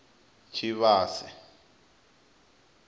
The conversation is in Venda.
tshivhase